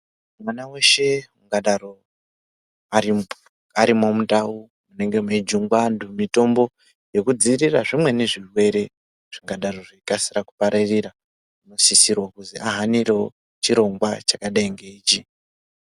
Mwana weshe ungadaro arimwo mundau munenge mweijungwa anhu mitombo yekudzivirira zvimweni zvirwere zvingadai zveikasira kupararira, isisiro kuti ahanirewo zvirongwa zvkadai ngeichi.